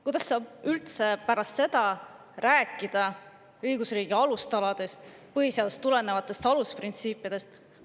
Kuidas saab üldse pärast seda rääkida õigusriigi alustaladest, põhiseadusest tulenevatest alusprintsiipidest?